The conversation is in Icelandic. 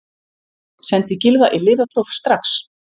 Sendið Gylfa í lyfjapróf strax!